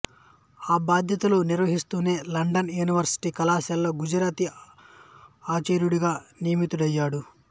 ఆ బాధ్యతలు నిర్వహిస్తూనే లండన్ యూనివర్శిటీ కళాశాలలో గుజరాతీ ఆచార్యుడిగా నియమితుడయ్యాడు